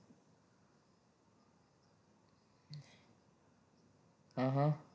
હમ હા